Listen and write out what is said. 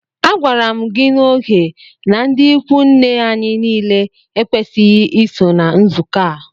A gwara mụ gị na ógè na ndị ịkwụ nne anyị niile ekwesighi iso na nzukọ a!!!